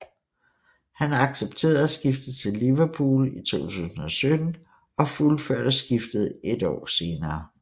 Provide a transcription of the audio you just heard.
Han accepterede at skifte til Liverpool i 2017 og fuldførte skiftet et år senere